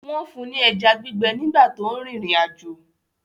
Wọ́n fún ní ẹja gbígbẹ nígbà tó ń rìnrìn àjò